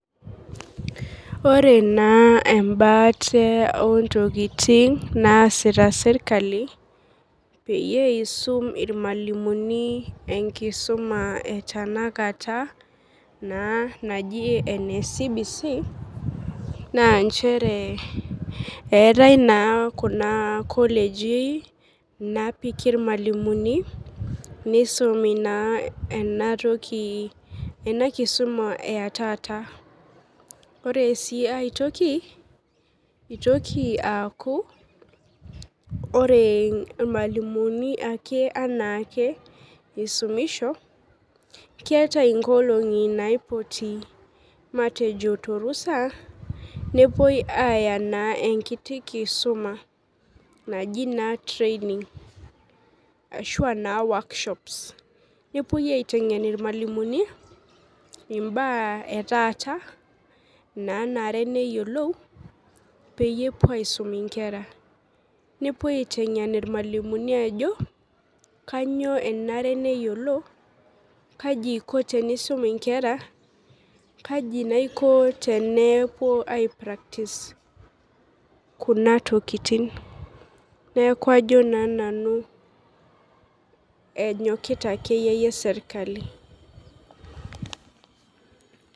Ore naa embaate ontokiting naasita sirkali naa peyie isum irmalimuni enkisuma e tanakata naa naji ene CBC naa nchere eetae naa kuna koleji napiki irmalimuni nisumi naa enatoki ena kisuma etaata ore sii aetoki itoki aaku ore irmalimuni ake anaake isumisho keeta inkolong'i naipoti matejo torusa nepuoi aaya naa enkiti kisuma naji naa training ashua naa workshops nepuoi aiteng'en irmualimuni imbaa etaata nanare neyiolu peyie epuo aisum inkera nepuoi aiteng'en irmalimuni ajo kanyio enare neyiolo kaji eiko tenisum inkera kaji naa iko tenepuo ae practice kuna tokiting neku ajo naa nanu enyokita akeyie yie serkali.